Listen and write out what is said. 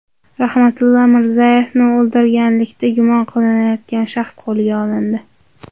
Rahmatilla Mirzayevni o‘ldirganlikda gumon qilinayotgan shaxs qo‘lga olindi.